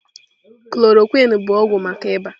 Chloroquine bụ ọgwụ maka ịba.